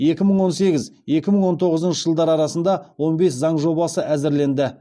екі мың он сегіз екі мың он тоғызыншы жылдар арасында он бес заң жобасы әзірленді